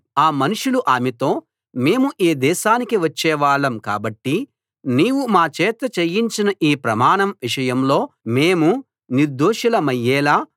ఆ మనుషులు ఆమెతో మేము ఈ దేశానికి వచ్చేవాళ్ళం కాబట్టి నీవు మా చేత చేయించిన ఈ ప్రమాణం విషయంలో మేము నిర్దోషులమయ్యేలా